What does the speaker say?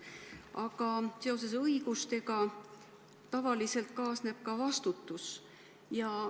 Aga õigustega kaasneb tavaliselt ka vastutus.